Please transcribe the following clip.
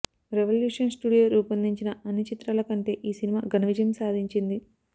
revolution studio రూపొందించిన అన్ని చిత్రాల కంటే ఈ సినిమా ఘన విజయం సాధించింది